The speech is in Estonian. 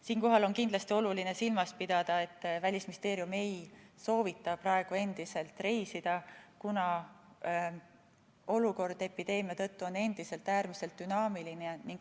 Siinkohal on kindlasti oluline silmas pidada, et Välisministeerium ei soovita praegu endiselt reisida, sest epideemia tõttu on olukord endiselt äärmiselt dünaamiline.